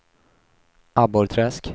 Abborrträsk